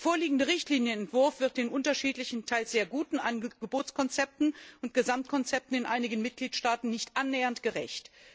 Der vorliegende Richtlinienentwurf wird den unterschiedlichen, teils sehr guten Angebotskonzepten und Gesamtkonzepten in einigen Mitgliedstaaten nicht annähernd gerecht.